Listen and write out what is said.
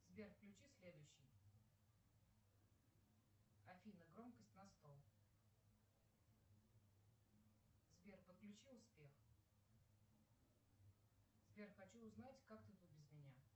сбер включи следующий афина громкость на сто сбер подключи успех сбер хочу узнать как ты тут без меня